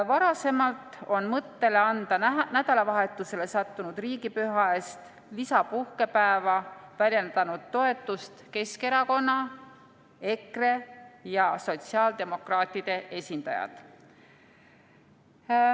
Varasemalt on mõttele anda nädalavahetusele sattunud riigipüha eest lisapuhkepäeva väljendanud toetust Keskerakonna, EKRE ja sotsiaaldemokraatide esindajad.